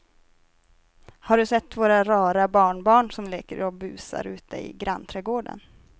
Har du sett våra rara barnbarn som leker och busar ute i grannträdgården!